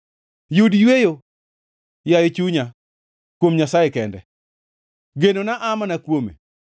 Yud yweyo, yaye chunya, kuom Nyasaye kende; genona aa mana kuome.